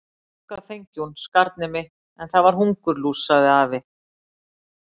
Eitthvað fengi hún, skarnið mitt, en það er hungurlús, sagði afi.